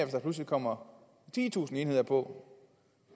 der pludselig kommer titusind enheder på